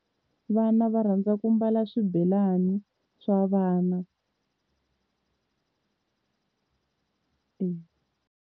Vana va rhandza ku mbala swibelani swa vana.